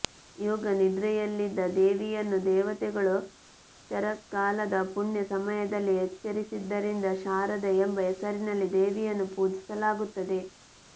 ಯೋಗನಿದ್ರೆಯಲ್ಲಿದ್ದ ದೇವಿಯನ್ನು ದೇವತೆಗಳು ಶರತ್ಕಾಲದ ಪುಣ್ಯ ಸಮಯದಲ್ಲಿ ಎಚ್ಚರಿಸಿದ್ದರಿಂದ ಶಾರದಾ ಎಂಬ ಹೆಸರಿನಲ್ಲಿ ದೇವಿಯನ್ನು ಪೂಜಿಸಲಾಗುತ್ತದೆ